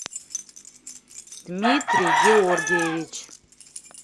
дмитрий георгиевич